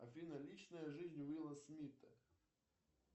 афина личная жизнь уилла смита